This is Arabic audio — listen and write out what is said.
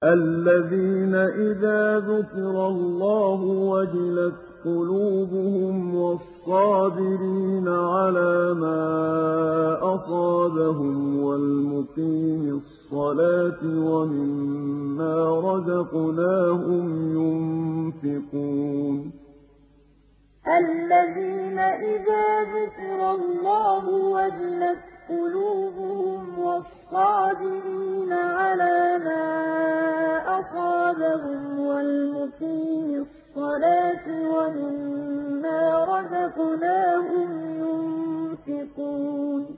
الَّذِينَ إِذَا ذُكِرَ اللَّهُ وَجِلَتْ قُلُوبُهُمْ وَالصَّابِرِينَ عَلَىٰ مَا أَصَابَهُمْ وَالْمُقِيمِي الصَّلَاةِ وَمِمَّا رَزَقْنَاهُمْ يُنفِقُونَ الَّذِينَ إِذَا ذُكِرَ اللَّهُ وَجِلَتْ قُلُوبُهُمْ وَالصَّابِرِينَ عَلَىٰ مَا أَصَابَهُمْ وَالْمُقِيمِي الصَّلَاةِ وَمِمَّا رَزَقْنَاهُمْ يُنفِقُونَ